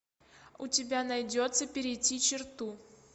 у тебя найдется перейти черту